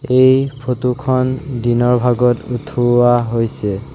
এই ফটো খন দিনৰ ভাগত উঠোৱা হৈছে।